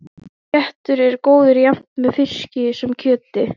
Þessi réttur er góður jafnt með fiski sem kjöti.